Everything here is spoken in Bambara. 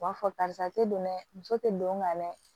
U b'a fɔ karisa te don dɛ muso te don ka mɛn